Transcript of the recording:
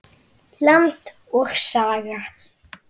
Land og Saga.